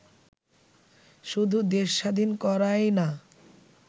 শুধু দেশ স্বাধীন করায় না